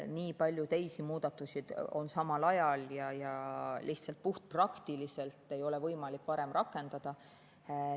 Nii palju teisi muudatusi tehakse samal ajal ja lihtsalt puhtpraktiliselt ei ole võimalik varem rakendada.